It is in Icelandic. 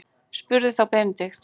spurði þá Benedikt.